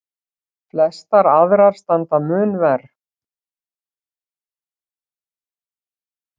Flestar aðrar standa mun verr.